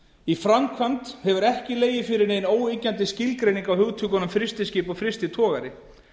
í framkvæmd hefur ekki legið fyrir nein óyggjandi skilgreining á hugtökunum frystiskip og frystitogari